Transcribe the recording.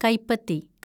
കൈപ്പത്തി